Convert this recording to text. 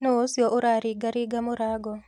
Nũũcio ũraringaringa mũrango.